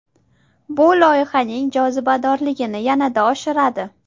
Bu loyihaning jozibadorligini yanada oshiradi.